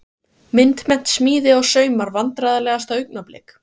Myndmennt, smíði og saumar Vandræðalegasta augnablik?